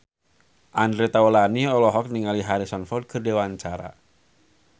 Andre Taulany olohok ningali Harrison Ford keur diwawancara